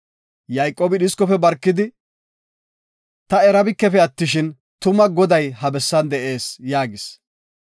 Yayqoobi dhiskofe barkidi, “Ta erabikefe attishin, tuma Goday ha bessan de7ees” yaagis.